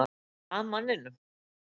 Er eitthvað að manninum?